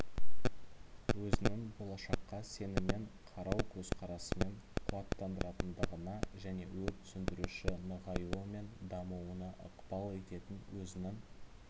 өзінің болашаққа сеніммен қарау көзқарасымен қуаттандыратындығына және өрт сөндіруші нығаюы мен дамуына ықпал ететін өзінің